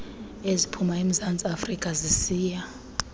eziphuma emzantsiafrika zisiya